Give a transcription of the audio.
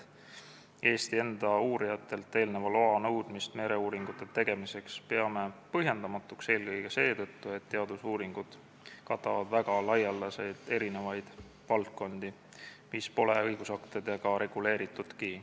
Eesti enda uurijatelt loa nõudmist mereuuringute tegemiseks peame põhjendamatuks eelkõige seetõttu, et teadusuuringud katavad väga laialdaselt eri valdkondi, mis pole õigusaktidega reguleeritudki.